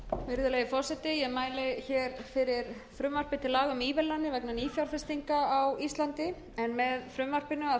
virðulegi forseti ég mæli fyrir frumvarpi til laga um ívilnanir vegna nýfjárfestinga á íslandi en með frumvarpinu erum við